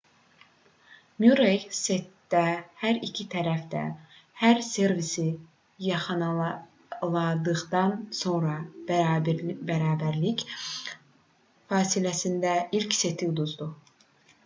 murrey setdə hər iki tərəf də hər servisi yaxaladıqdan sonra bərabərlik fasiləsində ilk seti uduzdu